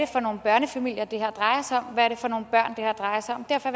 for nogle børnefamilier det her drejer sig om hvad det er for nogle børn det her drejer sig om derfor